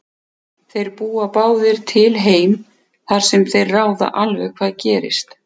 Þeir búa báðir til heim þar sem þeir ráða alveg hvað gerist.